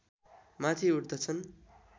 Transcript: माथि उठ्दछन्